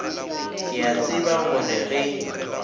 ke a tseba gore ge